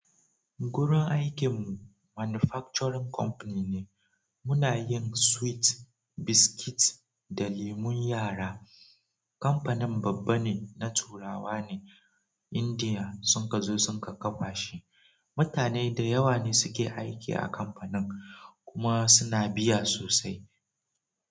Gurin aikin mu manufacturing company ne. Muna yin sweet, biscuit da lemun yara. Kamfanin babba ne na turawa ne Indiya sun ka zo sun ka kafa shi. Mutane da yawa ne suke aiki a kamfanin kuma suna biya sosai.